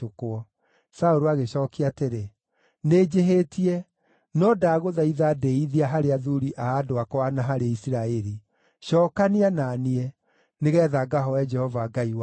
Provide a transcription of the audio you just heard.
Saũlũ agĩcookia atĩrĩ, “Nĩnjĩhĩtie, no ndagũthaitha ndĩĩithia harĩ athuuri a andũ akwa na harĩ Isiraeli; cookania na niĩ, nĩgeetha ngahooe Jehova Ngai waku.”